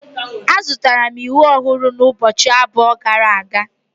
Azụtara m ịwụ ọhụrụ ụbọchị abụọ gara aga.